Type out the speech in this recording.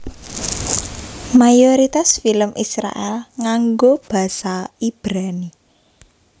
Mayoritas film Israèl nganggo basa Ibrani